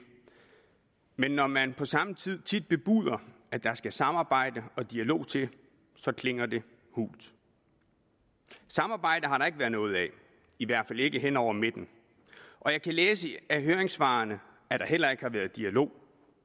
men når man tit på samme tid tid bebuder at der skal samarbejde og dialog til klinger det hult samarbejde har der ikke været noget af i hvert fald ikke hen over midten og jeg kan læse af høringssvarene at der heller ikke har været dialog